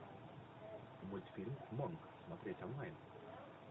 мультфильм монк смотреть онлайн